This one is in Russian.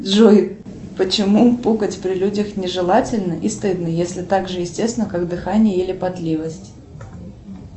джой почему пукать при людях не желательно и стыдно если так же естественно как дыхание или потливость